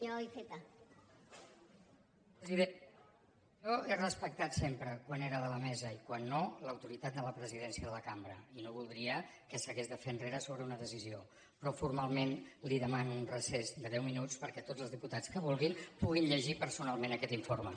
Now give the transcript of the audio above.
presidenta jo he respectat sempre quan era a la mesa i quan no l’autoritat de la presidència de la cambra i no voldria que s’hagués de fer enrere sobre una decisió però formalment li demano un recés de deu minuts perquè tots els diputats que vulguin puguin llegir personalment aquest informe